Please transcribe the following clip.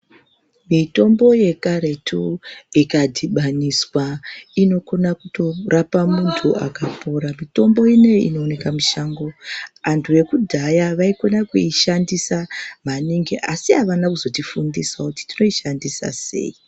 Mitombo yekaretu ikadhibaniswa inokone kutorapa muntu akapora mitombo ineyi inooneka mushango antu ekudhaya vaikone kuishandisa maningi asi avane kuzotifundisawo kuti tinoishandisa sei.